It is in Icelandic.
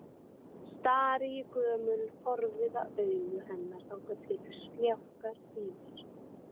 Stari í gömul, forviða augu hennar þangað til sljákkar í mér.